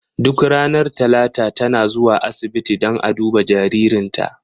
Duk ranar talata ta na zuwa asibiti dan a duba jaririnta.